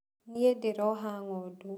Niĩ ndĩroha ng'ondu.